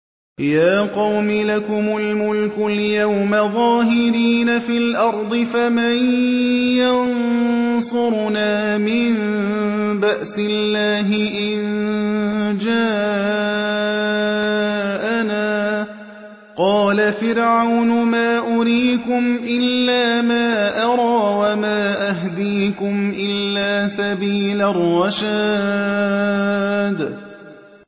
يَا قَوْمِ لَكُمُ الْمُلْكُ الْيَوْمَ ظَاهِرِينَ فِي الْأَرْضِ فَمَن يَنصُرُنَا مِن بَأْسِ اللَّهِ إِن جَاءَنَا ۚ قَالَ فِرْعَوْنُ مَا أُرِيكُمْ إِلَّا مَا أَرَىٰ وَمَا أَهْدِيكُمْ إِلَّا سَبِيلَ الرَّشَادِ